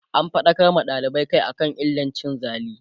an faɗakar ma dalibai Kai akan illar cin zali